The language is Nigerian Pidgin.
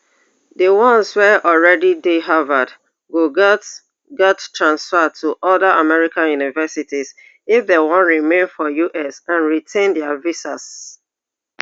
di ones wey already dey harvard go gatz gatz transfer to oda american universities if dem wan remain for us and retain dia visas